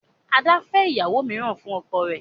Ada fè ìyàwó míràn fún ọkọ rẹ.